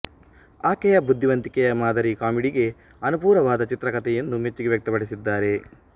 ಆಕೆಯ ಬುದ್ಧಿವಂತಿಕೆಯ ಮಾದರಿ ಕಾಮಿಡಿಗೆ ಅನುಪೂರವಾದ ಚಿತ್ರಕಥೆ ಎಂದು ಮೆಚ್ಚುಗೆ ವ್ಯಕ್ತಪಡಿಸಿದ್ದಾರೆ